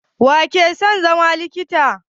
Waye ke son zama likita?